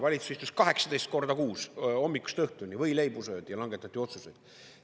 Valitsus istus 18 korda kuus hommikust õhtuni, võileibu söödi ja langetati otsuseid.